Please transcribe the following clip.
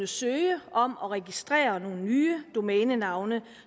søge om og registrere nye domænenavne